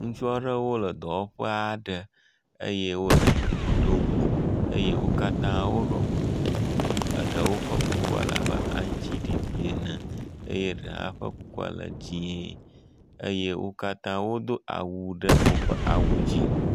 ŋutsuaɖewo le dɔwɔƒe aɖe eye wóle gli ɖom eye wókatã wóɖɔ kuku eɖewo ƒe kukua labe aŋtsiɖiɖi ene eye ɖe hã ƒe kukua le dzĩe eye wokatã wodó awu ɖe woƒe awu dzí